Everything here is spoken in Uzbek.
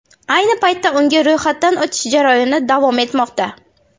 Ayni paytda unga ro‘yxatdan o‘tish jarayoni davom etmoqda.